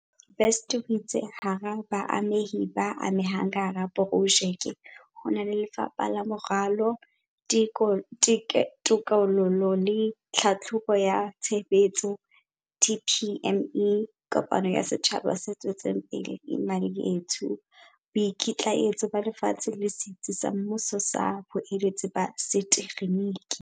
Best o itse hara baamehi ba amehang ka hara projeke ho na le Lefapha la Moralo, Teko lo le Tlhahlobo ya Tshebetso, DPME, kopano ya setjhaba se tswetseng pele Imali Yethu, Boikitlaetso ba Lefatshe le Setsi sa Mmuso sa Boeletsi ba Setekgeniki.